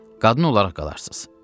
Qadın olaraq qalarsınız.